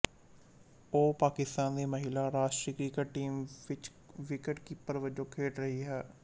ਉਹ ਪਾਕਿਸਤਾਨ ਦੀ ਮਹਿਲਾ ਰਾਸ਼ਟਰੀ ਕ੍ਰਿਕਟ ਟੀਮ ਵਿੱਚ ਵਿਕਟ ਕੀਪਰ ਵਜੋਂ ਖੇਡ ਰਹੀ ਹੈ